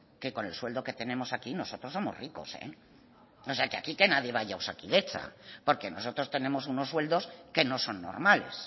que con el sueldo que tenemos aquí nosotros somos ricos o sea que aquí nadie vaya osakidetza porque nosotros tenemos unos sueldos que no son normales